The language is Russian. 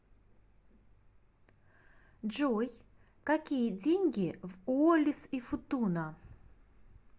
джой какие деньги в уоллис и футуна